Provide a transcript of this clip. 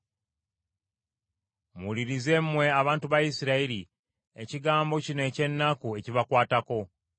Muwulirize mmwe abantu ba Isirayiri ekigambo kino eky’ennaku ekibakwatako.